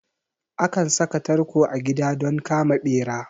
Akan saka tarko a gida don kama ɓera